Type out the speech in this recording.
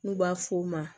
N'u b'a f'o ma